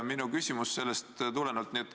Minu küsimus tulenebki sellest.